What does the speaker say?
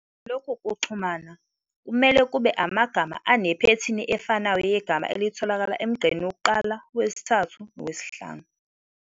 Lokhu kuxhumana kumele kube amagama anephethini efanayo yegama elithokala emgqeni wokuqala, wesithathu nowesihlanu.